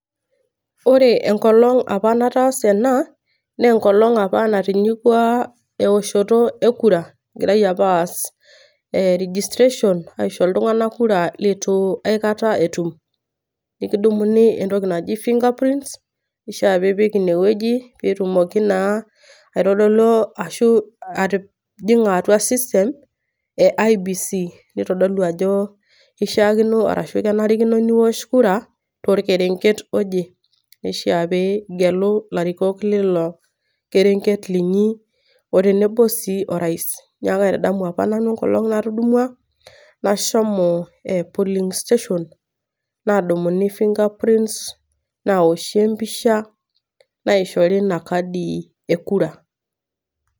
Ore enkolong opa nataasa ena , naa enkolong' opa natinyikua eoshoto e kura. Egirai apa aas registration airegista iltung'ana kura iltung'ana opa aikata etum. Nekidumuni entoki naji finger print peishaa nipik one wueji pee itumoki naa aitodolu ashu atijing'a atua system e IEBC. Neitodolu ajo keishaakino ashu kenarikino niosh kura tolkerenket oje, neishaa pee igelu ilarikok leilo kerenget linyi o tenebo sii orais. Neaku kaitadamu sii opa nanu enkolong' opa natudumwa, nashomo polling station naadumuni finger print naoshi empisha naishori Ina kadi e kura.